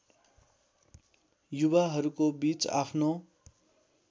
युवाहरूको बीच आफ्नो